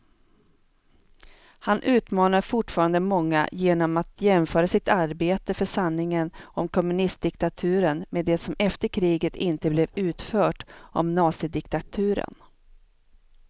Han utmanar fortfarande många genom att jämföra sitt arbete för sanningen om kommunistdiktaturen med det som efter kriget inte blev utfört om nazidiktaturen.